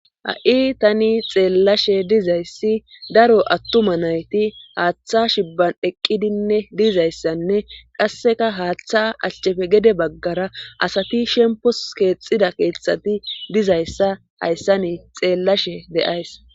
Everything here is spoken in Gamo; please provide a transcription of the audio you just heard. Ha,i tani xeellashe dizayssi daro attuma nayti haaththa shibban eqqidinne diizayssanne qasseka haaththa accefe gede baggara asati shempo keexida keeththati dizayssa hayssani xeellashe deyays.